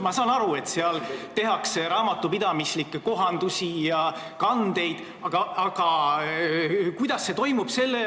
Ma saan aru, et seal tehakse raamatupidamislikke kohendusi ja kandeid, aga kuidas see toimub?